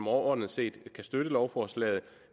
overordnet set kan støtte lovforslaget